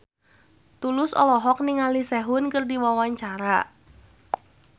Tulus olohok ningali Sehun keur diwawancara